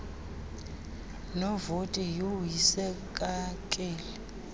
novoti yhu yisekakeli